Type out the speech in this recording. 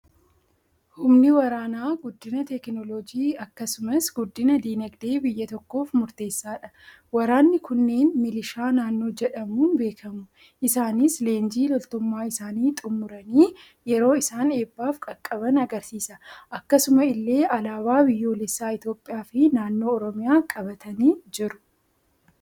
Humni waraanaa guddina teekinooloojii akkasumas guddina dinaagdee biyya tokkoof murteessaadha. Waraanni kunneen milishaa naannoo jedhamuun beekamu. Isaanis leenjii loltummaa isaanii xummuranii yeroo isaan eebbaaf qaqqaban argisiisa. Akkasuma illee alaabaa biyyoolessaa Itoophiyaa fi naannoo Oromiyaa qabatanii jiru.